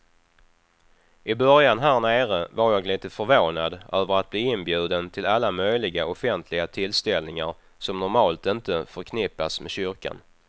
I början härnere var jag lite förvånad över att bli inbjuden till alla möjliga offentliga tillställningar som normalt inte förknippas med kyrkan.